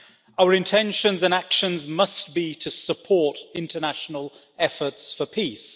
Our intentions and actions must be to support international efforts for peace.